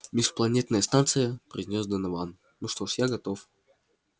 межпланетная станция произнёс донован ну что ж я готов